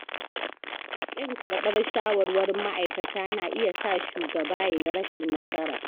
Ƙin karɓar shawarwarin ma'aikata na iya sa shugaba yayi rashin nasara.